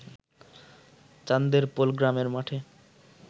চান্দেরপোল গ্রামের মাঠে